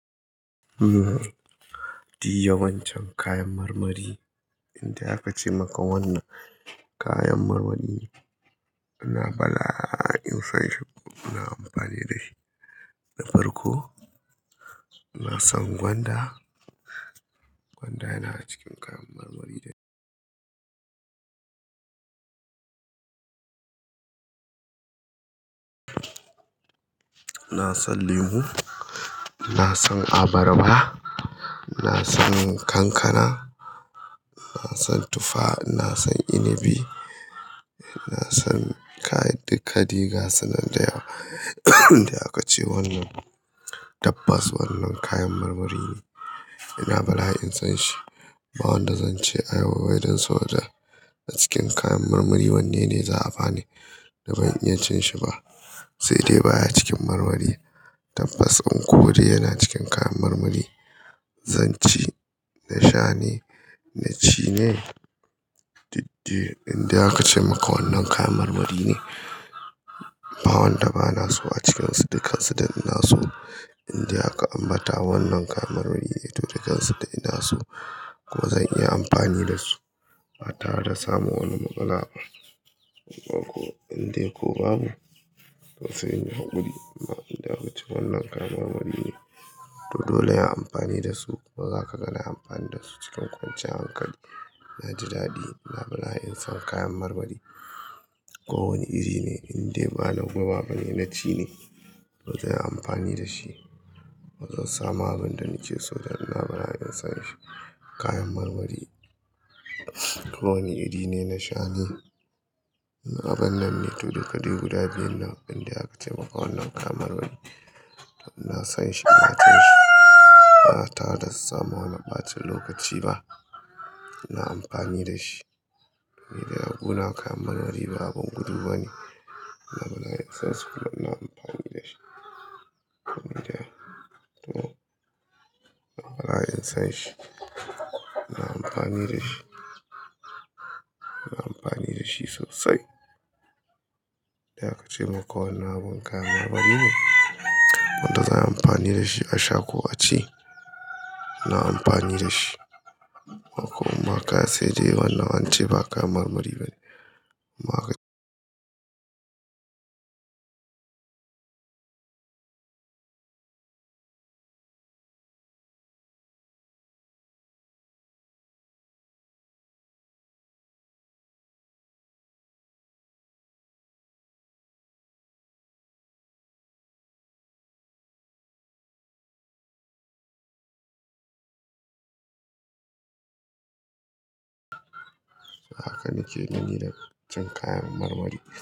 Diy yawancin kayan marmari, indai aka ce maka wannan kayan marmari ne. Ina bala'in san shi. Ina amfani da shi na farko. Na san gwanda, gwanda yana cikin kayan marmari. Na san lemu, na san abarba, na san kankana, na san tufa, na san inabi, kai duka dai ga sunan da yawa. Inda aka ce wannan tabbas wannan kayan marmari ne. Ina bala'in san shi. Ba wanda zan ce ayaba wai don soji a cikin kayan marmari wanne ne za a bani da ban iya cin shi ba? Sai dai baya cikin marmari. Tabbas, unkur yana cikin kayan marmari. Zan ci na sha ne, na ci ne? Duk dai indai aka ce maka wannan kayan marmari ne. Ba wanda bana so a cikin su, dukkan su duk ina so. Indai aka ambata wannan kayan marmari ne to dukkansu duk ina so. Ko zan iya amfani da su ba tare da samun wani matsala ba. Ko indai ko babu, to sai in yi haƙuri. Amma inda aka ce wannan kayan marmari ne to dole in yi amfani da su. Ba za ka ga na yi amfani da su cikin kwanciyan hankali. Na ji daɗi, ina bala'in san kayan marmari. Ko wanne iri ne, indai bana guba bane na ci ne. To zan yi amfani da shi. Ba zan sama abinda nake so don ina bala'in san shi. Kayan marmari, ko wani iri ne, na sha ne. Abin nan ne, to duka dai guda biyun nan. Indai aka ce maka wannan kayan marmari, to ina son shi, ina cin shi. Ba tare da samun wani ɓacin lokaci ba. Ina amfani da shi. Ni dai a guna kayan marmari ba abun gudu bane. Ina bala'in san su kuma ina amfani da shi. Ina bala'in san shi. Ina amfani da shi. Ina amfani da shi sosai. Indai aka ce maka wannan abun kayan marmari ne, wanda za ai amfani da shi a sha ko a ci. Ina amfani da shi. Ko ma ka sai dai wannan an ce ba kayan marmari bane. Haka nake dani da cikin kayan marmari.